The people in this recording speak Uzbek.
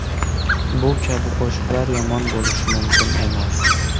Bu kabi qo‘shiqlar yomon bo‘lishi mumkin emas.